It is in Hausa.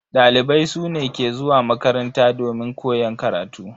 Dalibai su ne ke zuwa makaranta domin koyan karatu.